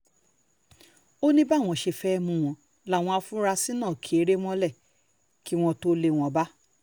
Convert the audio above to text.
ó ní báwọn ṣe fẹ́ẹ́ mú wọn láwọn afurasí náà ki eré mọ́lẹ̀ kí wọ́n tóó lé wọn bá